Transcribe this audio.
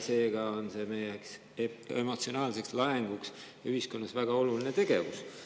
Seega on see meie jaoks emotsionaalse laenguna ühiskonnas väga oluline tegevus.